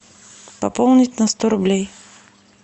пополнить на сто рублей